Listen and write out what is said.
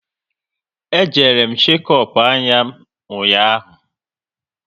E jere m shekop anya m ụnyaahụ